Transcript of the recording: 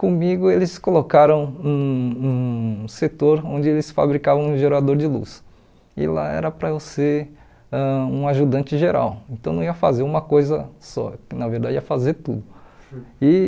Comigo eles colocaram um um setor onde eles fabricavam um gerador de luz e lá era para eu ser ãh um ajudante geral, então não ia fazer uma coisa só, na verdade ia fazer tudo. E